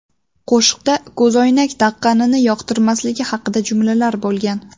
Qo‘shiqda ko‘zoynak taqqanini yoqtirmasligi haqida jumlalar bo‘lgan.